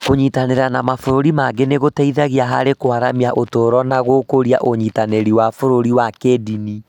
Kũnyitanĩra na mabũrũri mangĩ nĩ gũteithetie harĩ kũaramia ũtũũro na gũkũria ũnyitanĩri wa bũrũri wa kĩĩndini.